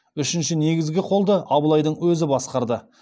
үшінші негізгі қолды абылайдың өзі басқарды